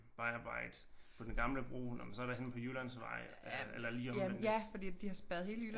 Vejarbejde på den gamle bro nåh men så er der henne på Jyllandsvej eller lige omvendt